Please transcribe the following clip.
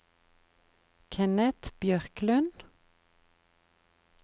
Kenneth Bjørklund